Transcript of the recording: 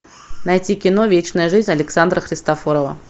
найти кино вечная жизнь александра христофорова